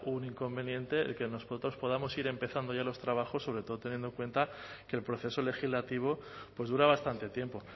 un inconveniente el que nosotros podamos ir empezando ya los trabajos sobre todo teniendo en cuenta que el proceso legislativo pues dura bastante tiempo